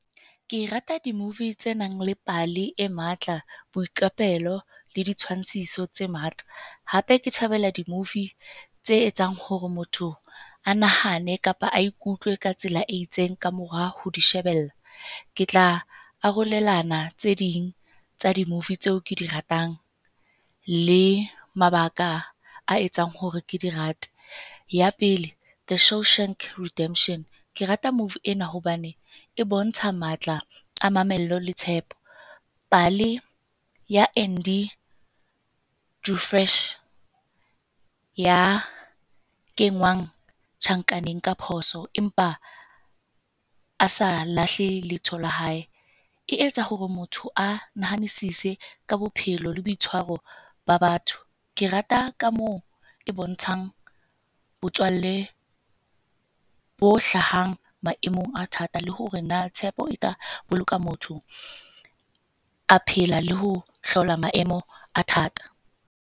Ke rata di-movie tse nang le pale e matla, boiqapelo le ditshwantshiso tse matla. Hape ke thabela di-movie tse etsang hore motho a nahane kapa a ikutlwe ka tsela e itseng kamora ho di shebella. Ke tla arolelana tse ding tsa di-movie tseo ke di ratang le mabaka a etsang hore ke di rate. Ya pele The Show Shrunk Redemption. Ke rata movie ena hobane e bontsha matla a mamello le tshepo. Pale ya Andy du Fresh ya kengwang tjhankaneng ka phoso. Empa a sa lahle leetho la hae. E etsa hore motho a nahanisitse ka bophelo le boitshwaro ba batho. Ke rata ka moo e bontshang botswalle bo hlahang maemong a thata le hore na tshepo e ka boloka motho a phela le ho hlola maemo a thata.